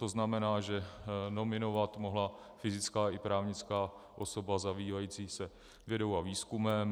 To znamená, že nominovat mohla fyzická i právnická osoba zabývající se vědou a výzkumem.